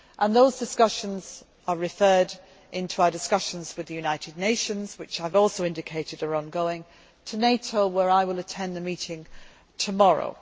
Those discussions are referred to in our discussions with the United Nations, which I have also indicated are ongoing, and NATO, where I will attend a meeting tomorrow.